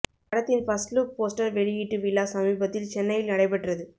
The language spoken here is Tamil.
படத்தின் பர்ஸ்ட் லுக் போஸ்டர் வெளியீட்டு விழா சமீபத்தில் சென்னையில் நடை பெற்றது